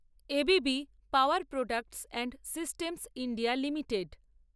ABB power products and systems India limited